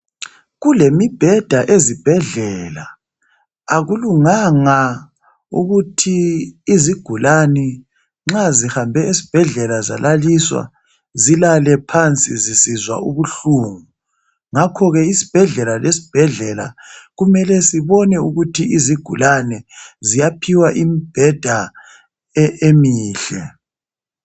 Kulemibheda ezibhedlela akulunganga ukuthi izigulane nxa zihambe ezibhedlela zalaliswa zilale phansi zisizwa ubuhlungu ngakho ke isibhedlela lesibhedlela kumele sibone ukuthi izigulane ziyaphiwa imibheda emihle.